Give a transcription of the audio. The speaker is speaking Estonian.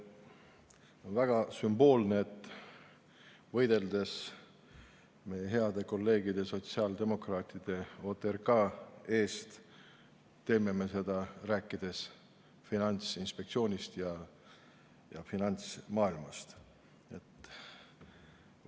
On väga sümboolne, et võideldes meie heade kolleegide, sotsiaaldemokraatide OTRK eest, teeme seda Finantsinspektsioonist ja finantsmaailmast rääkides.